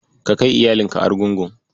Ka kai iyalinka Argungu.